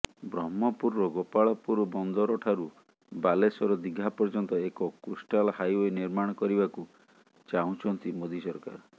ବ୍ରହ୍ମପୁରର ଗୋପାଳପୁର ବନ୍ଦରଠାରୁ ବାଲେଶ୍ୱର ଦିଘା ପର୍ଯ୍ୟନ୍ତ ଏକ କୋଷ୍ଟାଲ ହାଇଓ୍ୱେ ନିର୍ମାଣ କରିବାକୁ ଚାହୁଁଛନ୍ତି ମୋଦି ସରକାର